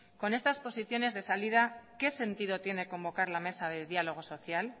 con estas posiciones de salida qué sentido tiene convocar la mesa de diálogo social